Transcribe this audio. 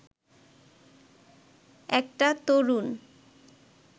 একটা তরুণ